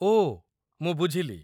ଓ, ମୁଁ ବୁଝିଲି।